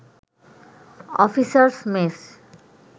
officers mess